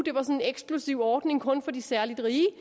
en eksklusiv ordning kun for de særlig rige